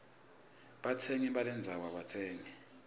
batsengisi balendzano abatsengisi